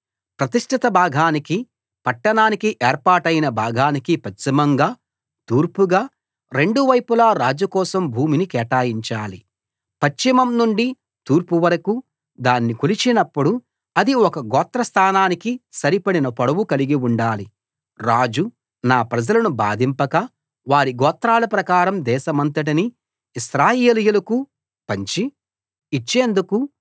ప్రతిష్ఠిత భాగానికి పట్టణానికి ఏర్పాటైన భాగానికి పశ్చిమంగా తూర్పుగా రెండు వైపులా రాజు కోసం భూమిని కేటాయించాలి పశ్చిమం నుండి తూర్పు వరకూ దాన్ని కొలిచినప్పుడు అది ఒక గోత్రస్థానానికి సరిపడిన పొడవు కలిగి ఉండాలి రాజు నా ప్రజలను బాధింపక వారి గోత్రాల ప్రకారం దేశమంతటినీ ఇశ్రాయేలీయులకు పంచి ఇచ్చేందుకు